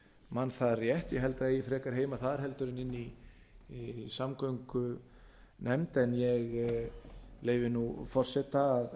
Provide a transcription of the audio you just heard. man það rétt ég held að það eigi frekar heima þar en inni í samgöngunefnd en ég leyfi forseta að